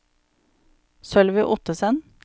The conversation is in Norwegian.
Sølvi Ottesen